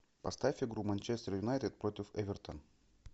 поставь игру манчестер юнайтед против эвертон